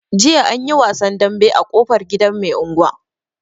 Jiya anyi wasan dambe a ƙofar gidan mai anguwa.